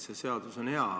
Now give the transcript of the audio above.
See seadus on hea.